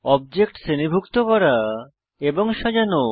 object শ্রেণীভুক্ত করা এবং সাজানো